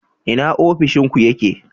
Ina ofishin ku yake?